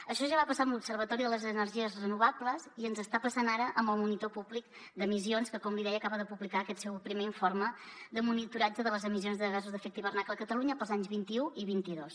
això ja va passar amb l’observatori de les energies renovables i ens està passant ara amb el monitor públic d’emissions que com li deia acaba de publicar aquest seu primer informe de monitoratge de les emissions de gasos d’efecte hivernacle a catalunya per als anys vint un i vint dos